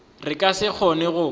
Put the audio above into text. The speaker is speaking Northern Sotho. re ka se kgone go